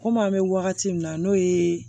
Komi an bɛ wagati min na n'o ye